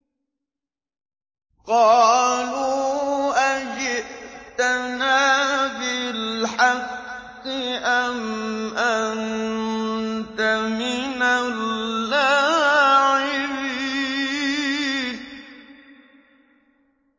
قَالُوا أَجِئْتَنَا بِالْحَقِّ أَمْ أَنتَ مِنَ اللَّاعِبِينَ